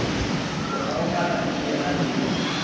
o kgaogana le yena le